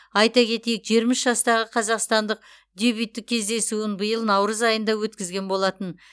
айта кетейік жиырма үш жастағы қазақстандық дебюттік кездесуін биыл наурыз айында өткізген болатын